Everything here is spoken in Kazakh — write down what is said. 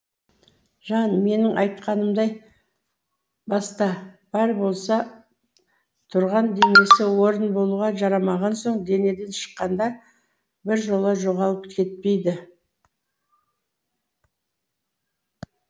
жан менің айтқанымдай баста бар болса тұрған денесі орын болуға жарамаған соң денеден шыққанда біржола жоғалып кетпейді